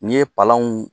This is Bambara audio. N'i ye palanw